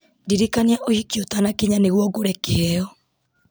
ndirikania ũhiki ũtanakinya nĩguo ngũre kĩheo